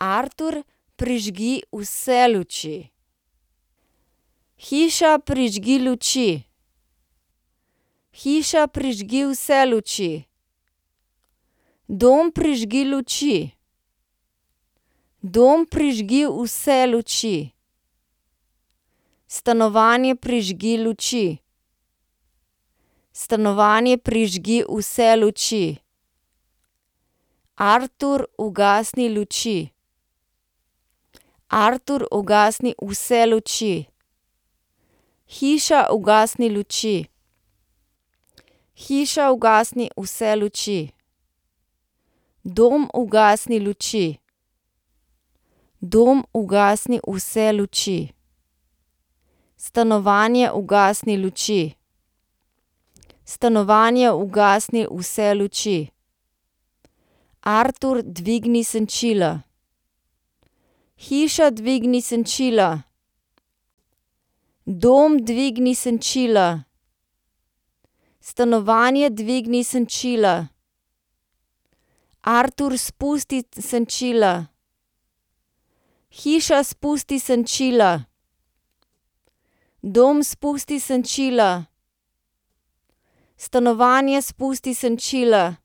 Artur, prižgi vse luči. Hiša, prižgi luči. Hiša, prižgi vse luči. Dom, prižgi luči. Dom, prižgi vse luči. Stanovanje, prižgi luči. Stanovanje, prižgi vse luči. Artur, ugasni luči. Artur, ugasni vse luči. Hiša, ugasni luči. Hiša, ugasni vse luči. Dom, ugasni luči. Dom, ugasni vse luči. Stanovanje, ugasni luči. Stanovanje, ugasni vse luči. Artur, dvigni senčila. Hiša, dvigni senčila. Dom, dvigni senčila. Stanovanje, dvigni senčila. Artur, spusti senčila. Hiša, spusti senčila. Dom, spusti senčila. Stanovanje, spusti senčila.